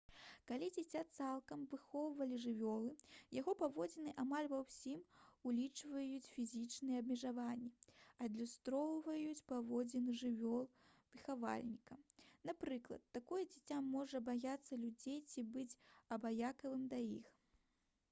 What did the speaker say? калі дзіця цалкам выхоўвалі жывёлы яго паводзіны амаль ва ўсім улічваючы фізічныя абмежаванні адлюстроўваюць паводзіны жывёлы-выхавальніка: напрыклад такое дзіця можа баяцца людзей ці быць абыякавым да іх